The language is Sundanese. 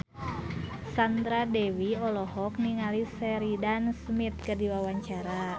Sandra Dewi olohok ningali Sheridan Smith keur diwawancara